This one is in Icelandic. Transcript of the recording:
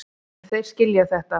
En þeir skilja þetta.